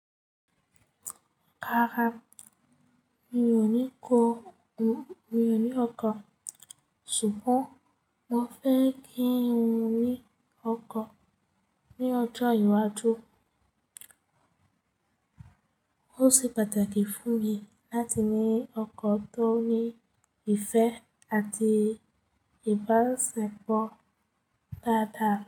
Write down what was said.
Rárá, mi ò ní kọ, mi ò ní ọkọ̀, ṣùgbọ́n mo fẹ́ kí ń ní ọkọ̀ ní ọjọ́ iwájú. Ó se pàtàkì fún mi láti ní ọkọ̀ tó ní ìfẹ́ àti ìbásepo dáadáa.